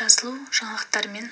жазылужаңалықтармен